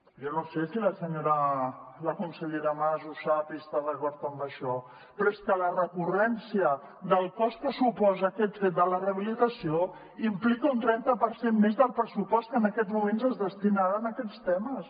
jo no sé si la consellera mas ho sap i està d’acord en això però és que la recurrència del cost que suposa aquest fet de la rehabilitació implica un trenta per cent més del pressupost que en aquests moments es destina a aquests temes